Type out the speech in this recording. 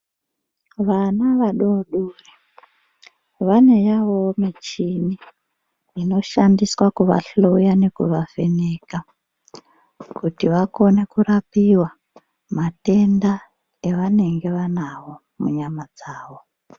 Vana vadodori vane yavowo michini inoshandiswa kuvahloya nekuvavheneka kuti vakone kurapiwa matenda avanenge vanawo munyama dzawo.